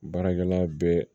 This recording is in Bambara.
Baarakɛla bɛɛ